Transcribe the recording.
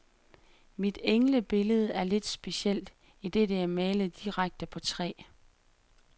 Mit englebillede er lidt specielt, idet det er malet direkte på træ.